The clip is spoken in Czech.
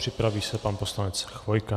Připraví se pan poslanec Chvojka.